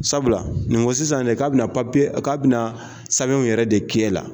Sabula nin ko sisan de ka be na ka be na sabɛnw yɛrɛ de k'e la.